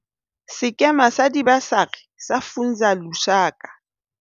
Sekema sa Dibasari sa Funza Lushaka,